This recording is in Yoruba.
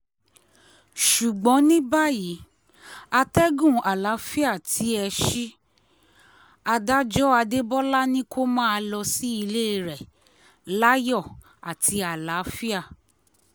ṣùgbọ́n ní báyìí àtẹ̀gùn àlàáfíà tí ẹ ṣí i adájọ́ adébólà ni kó máa lọ sílé rẹ láyọ̀ àti àlàáfíà